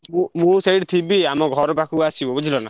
ମୁଁ ସେଇଠି ଥିବି ଆମ ଘର ପାଖକୁ ଆସିବ ବୁଝିଲ ନା।